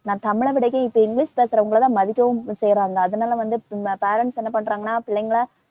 இப்ப இங்கிலிஷ் பேசறவங்களைதான் மதிக்கவும் செய்றாங்க. அதனாலவந்து ம~ parents என்ன பண்றாங்கனா பிள்ளைங்களை